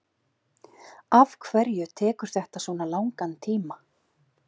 afhverju tekur þetta svona langan tíma